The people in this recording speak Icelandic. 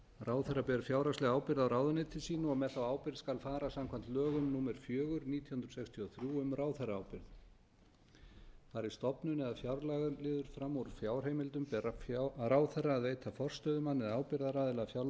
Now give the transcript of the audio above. ráðherra ber fjárhagslega ábyrgð á ráðuneyti sínu og með þá ábyrgð skal fara samkvæmt lögum númer fjögur nítján hundruð sextíu og þrjú um ráðherraábyrgð fari stofnun eða fjárlagaliður fram úr fjárheimildum ber ráðherra að veita forstöðumanni eða ábyrgðaraðila fjárlagaliðar